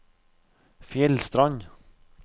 Fjellstrand